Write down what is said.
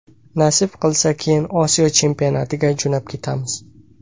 Nasib qilsa, keyin Osiyo chempionatiga jo‘nab ketamiz.